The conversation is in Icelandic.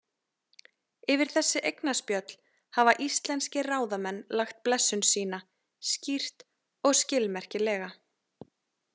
Yfir þessi eignaspjöll hafa íslenskir ráðamenn lagt blessun sína, skýrt og skilmerkilega.